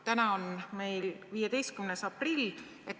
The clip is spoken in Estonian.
" Täna on meil 15. aprill.